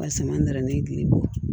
Wa sama nara ne ye gili bɔ